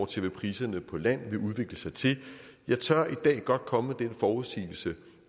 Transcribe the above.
til hvad priserne på land vil udvikle sig til jeg tør i dag godt komme med den forudsigelse